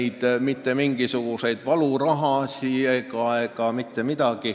Ei tule maksta mitte mingisuguseid valurahasid.